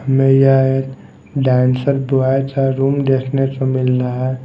मैं यह एक डांसर बॉय का रूम देखने को मिल रहा हैं।